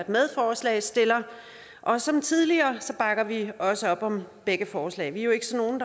medforslagsstiller og som tidligere bakker vi også op om begge forslag vi er jo ikke sådan